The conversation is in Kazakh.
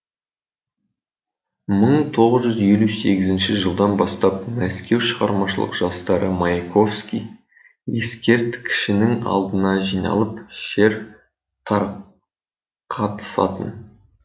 мың тоғыз жүз елу сегізінші жылдан бастап мәскеу шығармашылық жастары маяковский ескерткішінің алдына жиналып шер тарқатысатын